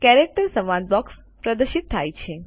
character સંવાદ box પ્રદર્શિત થાય છે